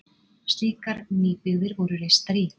Slíkar nýbyggðir voru reistar í